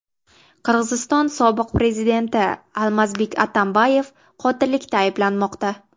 Qirg‘iziston sobiq prezidenti Almazbek Atambayev qotillikda ayblanmoqda.